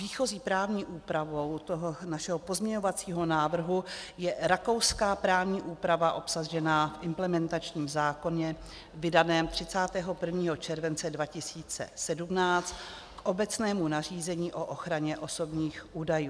Výchozí právní úpravou toho našeho pozměňovacího návrhu je rakouská právní úprava obsažená v implementačním zákoně vydaném 31. července 2017, k obecnému nařízení o ochraně osobních údajů.